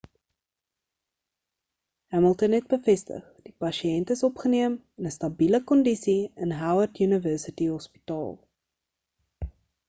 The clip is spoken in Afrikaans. hamilton het bevestig die pasiënt is opgeneem in 'n stabile kondise in howard university hospital